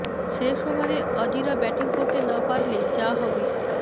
শেষ ওভারে অজিরা ব্যাটিং করতে না পারলে যা হবে